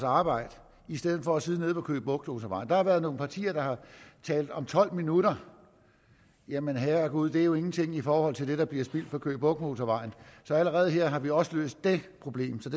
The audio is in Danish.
arbejde i stedet for at sidde nede på køge bugt motorvejen der har været nogle partier der har talt om tolv minutter jamen herregud det er jo ingenting i forhold til det der bliver spildt på køge bugt motorvejen så allerede her har vi også løst det problem så